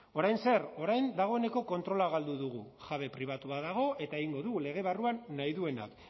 orain zer orain dagoeneko kontrola galdu dugu jabe pribatu bat dago eta egingo du lege barruan nahi duena